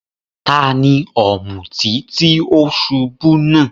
Tani òmùtí tí o ṣubú náà?